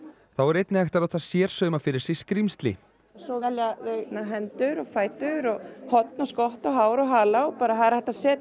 þá er einnig hægt að láta sérsauma fyrir sig skrímsli svo velja þau hendur og fætur horn og skott og hár og hala og hægt að setja